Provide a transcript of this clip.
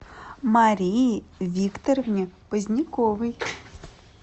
марии викторовне поздняковой